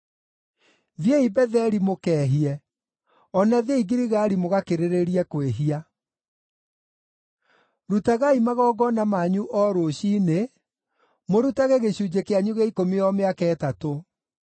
“Thiĩi Betheli mũkeehie; o na thiĩi Giligali mũgakĩrĩrĩrie kwĩhia. Rutagai magongona manyu o rũciinĩ, mũrutage gĩcunjĩ kĩanyu gĩa ikũmi o mĩaka ĩtatũ.